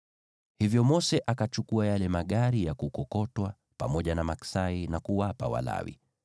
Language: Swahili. Hivyo Mose akachukua yale magari ya kukokotwa pamoja na maksai, na kuwapa Walawi.